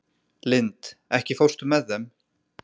Lind, ekki fórstu með þeim?